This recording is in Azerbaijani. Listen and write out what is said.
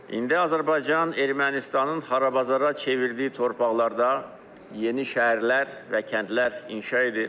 İndi Azərbaycan Ermənistanın xarabazara çevirdiyi torpaqlarda yeni şəhərlər və kəndlər inşa edir.